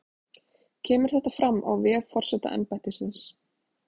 Kemur þetta fram á vef forsetaembættisins